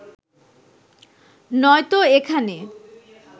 নয়তো এখানে